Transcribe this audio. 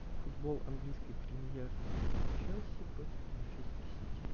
футбол английской премьер лиги челси против манчестер сити